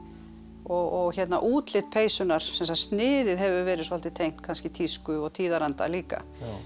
og útlit peysunnar sem sagt sniðið hefur verið svolítið tengt kannski tísku og tíðaranda líka